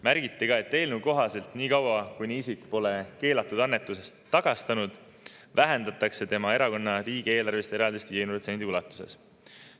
Märgiti ka, et eelnõu kohaselt niikaua kuni isik pole keelatud annetust tagastanud, vähendatakse tema erakonna riigieelarvelist eraldist 50% ulatuses.